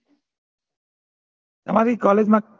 તમારી College મા જ